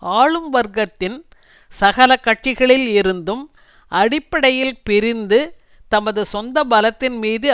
ஆளும் வர்க்கத்தின் சகல கட்சிகளில் இருந்தும் அடிப்படையில் பிரிந்து தமது சொந்த பலத்தின் மீது